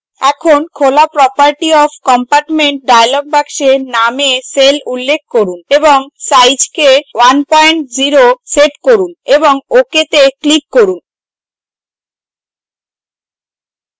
in খোলা property of compartment dialog বাক্সে name এ cell উল্লেখ করুন এবং size কে 10 set করুন এবং ok তে click করুন